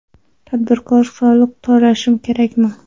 Tadbirkor soliq to‘lashi kerakmi?